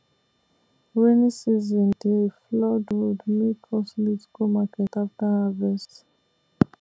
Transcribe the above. rainy season dey flood road make us late go market after harvest